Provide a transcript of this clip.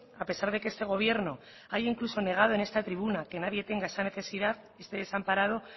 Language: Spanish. a pesar de que este gobierno haya incluso negado en esta tribuna que nadie tenga esa necesidad esté desamparado